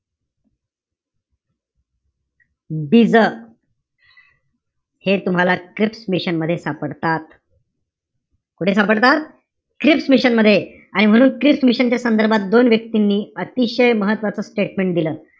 बीजं हे तुम्हाला क्रिप्स मिशन मध्ये सापडतात. कुठे सापडतात? क्रिप्स मिशन मध्ये. आणि म्हणून क्रिप्स मिशन च्या संदर्भात दोन व्यक्तींनी अतिशय महत्वाचं statement दिलं.